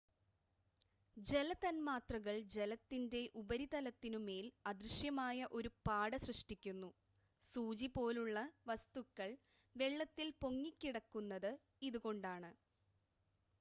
ജല തൻമാത്രകൾ ജലത്തിൻ്റെ ഉപരിതലത്തിനു മേൽ അദൃശ്യമായ ഒരു പാട സൃഷ്ടിക്കുന്നു സൂചി പോലുള്ള വസ്തുക്കൾ വെള്ളത്തിൽ പൊങ്ങിക്കിടക്കുന്നത് ഇതുകൊണ്ടാണ്